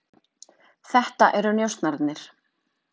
Þetta eru njósnararnir.